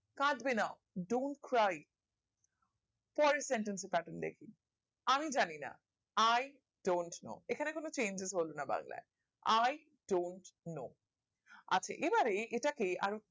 কাঁদবে না dont পরের sentence এ pattern দেখি আমি জানি না i dont know এখানে কোনো changes হলো না বাংলাই i dont know আছে এবারে এটাকে